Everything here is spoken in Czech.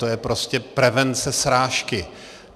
To je prostě prevence srážky.